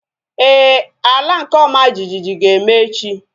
Éè, ala nke ọma jijiji ga-eme echi